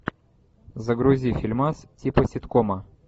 загрузи фильмас типа ситкома